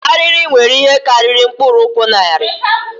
Arịrị nwere ihe karịrị mkpụrụ ụkwụ narị